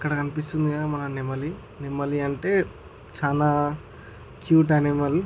ఇక్కడ కనిపిస్తుంది కదా మనకి నెమలి. నెమలి అంటే చానా క్యూట్ అనిమల్ .